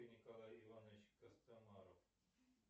николай иванович костомаров